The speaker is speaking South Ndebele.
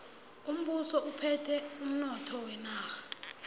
umbuso uphethe umnotho wenarha